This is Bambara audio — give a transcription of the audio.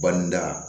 Banida